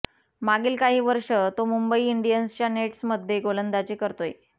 मागील काही वर्ष तो मुंबई इंडियन्सच्या नेट्समध्ये गोलंदाजी करतोय